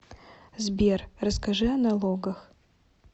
сбер расскажи о налогах